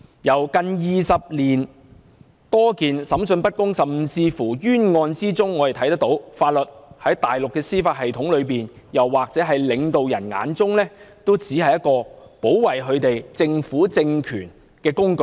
從近20年多宗審訊不公的案件和冤案中可見，法律在大陸的司法系統中，又或在領導人眼中，只是保護政權的工具。